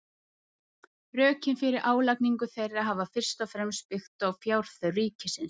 Rökin fyrir álagningu þeirra hafa fyrst og fremst byggt á fjárþörf ríkisins.